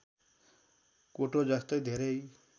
कोटो जस्तै धेरै